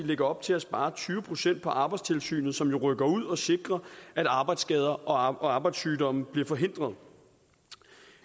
lægger op til at spare tyve procent på arbejdstilsynet som jo rykker ud og sikrer at arbejdsskader og arbejdssygdomme bliver forhindret